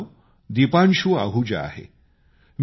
माझं नाव दीपांशु आहुजा आहे